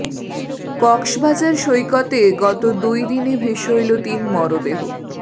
কক্সবাজার সৈকতে গত দুই দিনে ভেসে এলো তিন মরদেহ